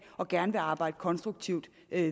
og gerne vil arbejde konstruktivt